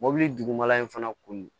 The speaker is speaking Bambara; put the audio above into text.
Mɔbili dugumala in fana kun